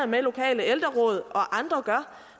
med at lokale ældreråd og andre gør